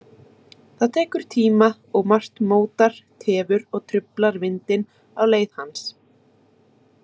Það tekur tíma og margt mótar, tefur og truflar vindinn á leið hans.